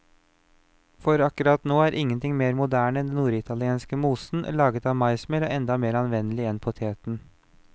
For akkurat nå er ingenting mer moderne enn denne norditalienske mosen, laget av maismel og enda mer anvendelig enn poteten.